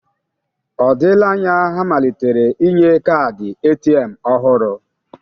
Ọ dịla anya ha malitere inye kaadị ATM ọhụrụ?